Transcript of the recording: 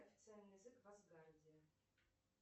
официальный язык в асгарде